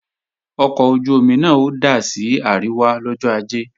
Ọkọ̀ ojú-omi náà ó dà sí àríwá lọ́jọ́ Ajé